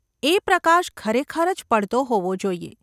એ પ્રકાશ ખરેખર જ પડતો હોવો જોઈએ.